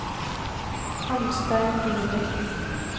Arnstein Ingebrigtsen